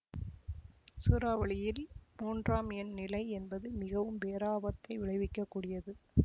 சூறாவளியில்மூன்றாம் எண் நிலை என்பது மிகவும் பேராபத்தை விளைவிக்க கூடியது